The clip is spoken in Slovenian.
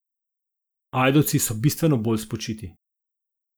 Ajdovci so bistveno bolj spočiti.